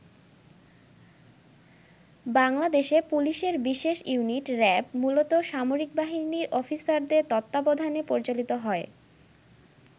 বাংলাদেশে পুলিশের বিশেষ ইউনিট র‍্যাব মূলত সামরিক বাহিনীর অফিসারদের তত্ত্বাবধানে পরিচালিত হয়।